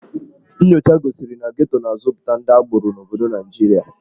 Nnyocha gosiri na Geto na-azụpụta ndị agboro n'obodo Naịjirịa.